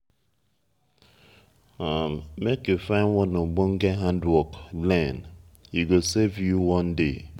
make you find one ogbonge hand-work learn e go save you one day.